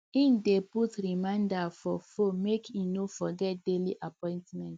he dey put reminder for phone make he no forget daily appointment